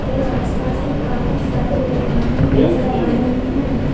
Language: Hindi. और आसपास भी काफी सारी दुकानें नजर आ रही हैं।